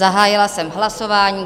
Zahájila jsem hlasování.